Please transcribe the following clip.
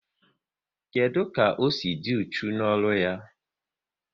Kedụ ka o si dị uchu n'ọrụ ya?